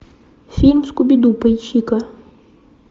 фильм скуби ду поищи ка